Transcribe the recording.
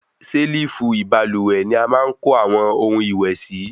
Selifu ibalúwẹ́ ní a máa ń kò awọn ohun ìwé síi